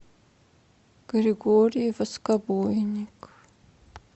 григорий воскобойник